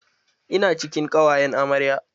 Ina cikin ƙawayan amarya